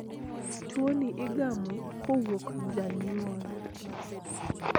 Tuoni igamo kowuok janyuol.